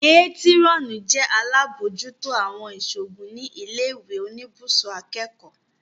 Métírọ́nì jẹ́ alábòójútó àwọn ìṣòògùn ní ilé ìwé oníbùsùn akẹ́kọ̀ọ́